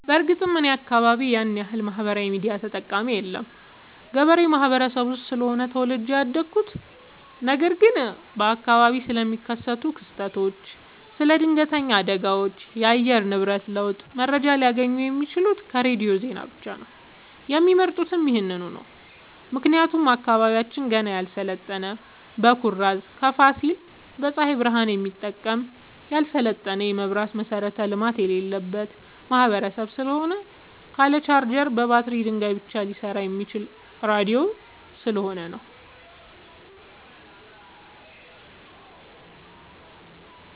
በርግጥ እኔ አካባቢ ያንያክል ማህበራዊ ሚዲያ ተጠቀሚ የለም ገበሬ ማህበረሰብ ውስጥ ስለሆነ ተወልጄ ያደኩት ነገር ግን በአካባቢው ስለሚከሰት ክስተት ስለ ድነገተኛ አደጋዎች የአየር ንብረት ለውጥ መረጃ ሊያገኙ የሚችሉት ከሬዲዮ ዜና ብቻ ነው የሚመርጡትም ይህንኑ ነው ምክንያቱም አካባቢያችን ገና ያልሰለጠነ በኩራዝ ከፋሲል በፀሀይ ብረሃን የሚጠቀም ያልሰለጠነ የመብራት መሠረተ ልማት የሌለበት ማህበረሰብ ስለሆነ ካለ ቻርጀር በባትሪ ድንጋይ ብቻ ሊሰራ የሚችለው ራዲዮ ስለሆነ ነው።